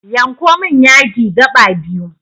Yanko min yadi gaɓa biyu